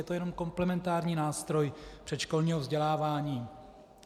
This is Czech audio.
Je to jenom komplementární nástroj předškolního vzdělávání.